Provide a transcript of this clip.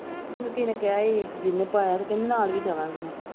ਮੈਨੂੰ ਕਿਸੇ ਨੇ ਕਿਹਾ ਸੀ ਜਿਨ੍ਹੇ ਪਾਇਆ ਤੇ ਕਹਿੰਦੀ ਨਾਲ ਵੀ ਜਾਵਾਂਗੀ ਮੈਂ।